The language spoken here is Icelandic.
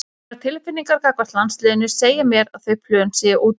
Mínar tilfinningar gagnvart landsliðinu segja mér að þau plön séu úti.